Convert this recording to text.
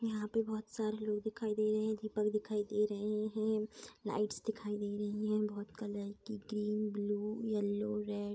यहाँ पे बहोत सारे लोग दिखाई दे रहें दीपक दिखाई दे रहे हैं लाइट्स दिखाई दे रही है बहोत कलर की ग्रीन ब्लू येलो रेड --